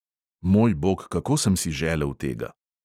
Moj bog, kako sem si želel tega!